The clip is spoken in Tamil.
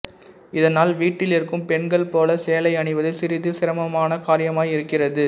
இதனால் வீட்டிலிருக்கும் பெண்கள் போல சேலை அணிவது சிறிது சிரமமான காரியமாய் இருக்கிறது